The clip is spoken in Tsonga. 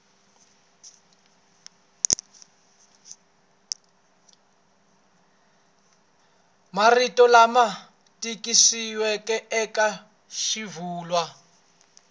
marito lama tikisiweke eka swivulwa